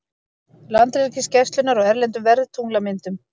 Landhelgisgæslunnar og erlendum veðurtunglamyndum.